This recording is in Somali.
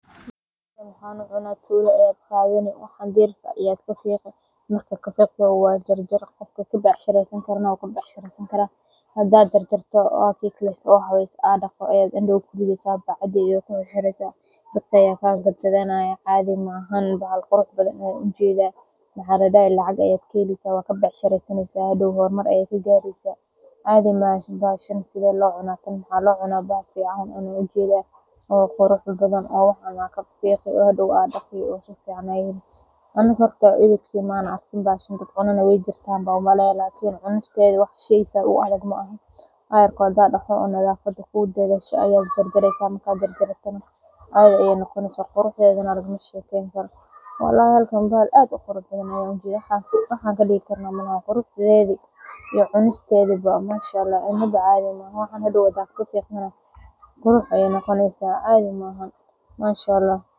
waaxa lagahela suqa waa jarjare oo becshara in lagu sameeyaa xilli ku habboon, sida subax hore ama galab dambe, marka heerkulka uu deggan yahay si baaqadu u ilaaliso tayadeeda. Intaa waxaa dheer, waa in la iska ilaaliyo in la jiido ama la gooyo si xoog ah, taasoo dhaawac gaarsiin karta jirridda ama laamaha kale. Qofka goosanaya waa inuu gashan yahay gacmo gashi iyo dhar difaac ah si uu uga badbaado dhaawacyo iyo caarada baaqada Manshaa Allah.